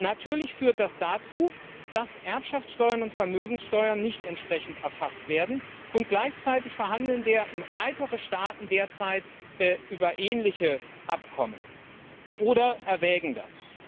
Natürlich führt das dazu, dass Erbschaftssteuern und Vermögenssteuern nicht entsprechend erfasst werden, und gleichzeitig verhandeln weitere Staaten derzeit über ähnliche Abkommen oder erwägen das.